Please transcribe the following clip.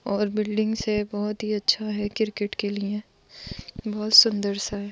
और बिल्डिंग्स हैं बहुत ही अच्छा है किरकेट के लिए बहुत सुंदर सा है।